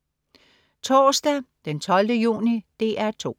Torsdag den 12. juni - DR 2: